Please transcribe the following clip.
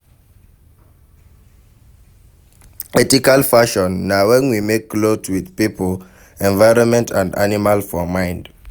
Ethical fashion na when we make cloth with pipo, environment and animal for mind